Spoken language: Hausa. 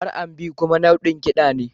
R&B kuma nau'in kiɗa ne